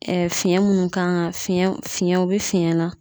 Ɛɛ fiɲɛn munnu kan ka fiɲɛnw fiɲɛnw be fiyɛnw na